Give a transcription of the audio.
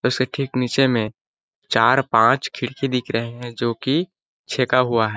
उसके ठीक नीचे में चार पाँच खिड़की दिख रहे है जो कि छेका हुआ है।